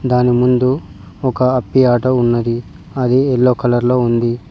దాని ముందు ఒక అప్పి ఆటో ఉన్నది అది ఎల్లో కలర్ లో ఉంది.